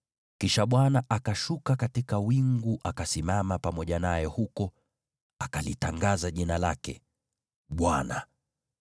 Kisha Bwana akashuka katika wingu akasimama pamoja naye huko, akalitangaza jina lake, Bwana .